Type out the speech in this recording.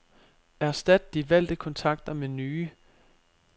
Erstat de valgte kontakter med nye.